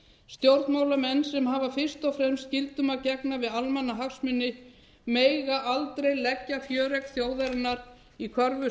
stjórnmálamenn sem hafa fyrst og fremst skyldum að gegna við almannahagsmuni mega aldrei leggja fjöregg þjóðarinnar í